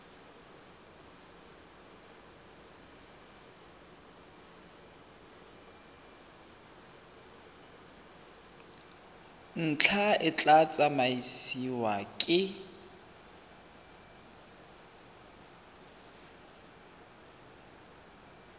ntlha e tla tsamaisiwa ke